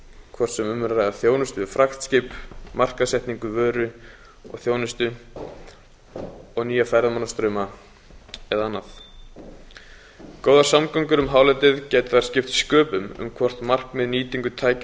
hvort sem um er að ræða þjónustu við fraktskip markaðssetningu vöru og þjónustu nýja ferðamannastrauma eða annað góðar samgöngur um hálendið gætu þar skipt sköpum um hvort markmið um